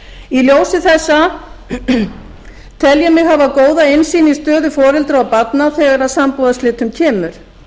í ljósi þessa tel ég mig hafa góða innsýn í stöðu foreldra og barna þegar að sambúðarslitum kemur